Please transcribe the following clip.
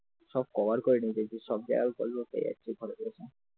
সব কভার করে ঢেকে রেখেছে, সব জায়গায় followers হয়ে যাচ্ছে